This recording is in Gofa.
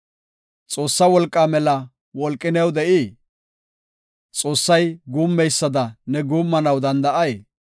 Xoossa wolqaa mela wolqi new de7ii? Xoossay guummeysada ne guummanaw danda7ay?